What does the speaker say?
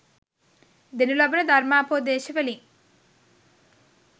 දෙනු ලබන ධර්මෝපදේශ වලින්